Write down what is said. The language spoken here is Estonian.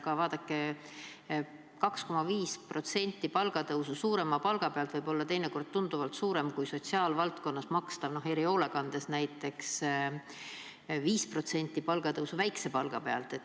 Aga vaadake, 2,5% palgatõusu suurema palga pealt võib olla tunduvalt suurem summa kui sotsiaalvaldkonnas makstav, erihoolekandes näiteks, 5% palgatõusu väikse palga pealt.